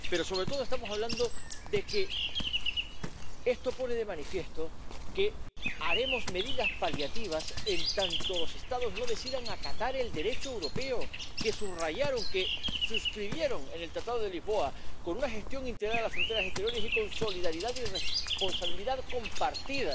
Pero, sobre todo, estamos hablando de que esto pone de manifiesto que tomaremos medidas paliativas en tanto los Estados no decidan acatar el Derecho europeo que suscribieron en el Tratado de Lisboa, con una gestión integrada de las fronteras exteriores y con solidaridad y responsabilidad compartida